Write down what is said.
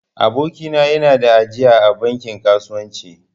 Aboki na ya na da ajiya a bankin kasuwanci